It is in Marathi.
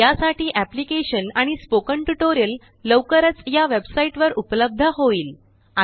यासाठीएप्लीकेशन आणि स्पोकन ट्यूटोरियल लवकरच या वेबसाइट वर उपलब्ध होईल